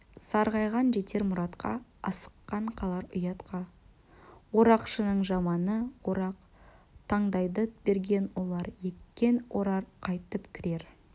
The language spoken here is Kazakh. сарғайған жетер мұратқа асыққан қалар ұятқа орақшының жаманы орақ таңдайды берген алар еккен орар қайтып кірер